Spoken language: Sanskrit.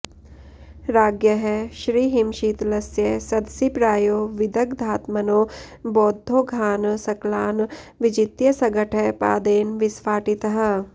राज्ञः श्रीहिमशीतलस्य सदसि प्रायो विदग्धात्मनो बौद्धौघान् सकलान् विजित्य सघटः पादेन विस्फाटितः